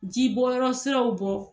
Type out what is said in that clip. Jibɔyɔrɔ siraw bɔ